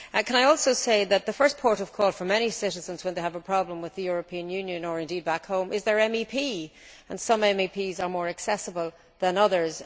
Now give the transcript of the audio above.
Can I also say that the first port of call for many citizens when they have a problem with the European Union or indeed back home, is their MEP, and some MEPs are more accessible than others.